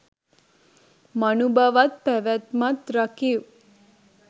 මනුබවත් පැවැත්මත් රකිව්